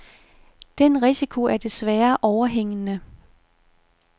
Den risiko er desværre overhængende.